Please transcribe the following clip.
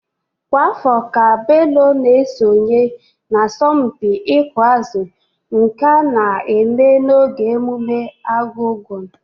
Kwa afọ ka Bello na-esonyekarị n'asọmpi ịkụ azụ nke a na-eme n'oge mmemme Argungun.